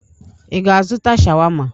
Ị ga-azụta sháwámá?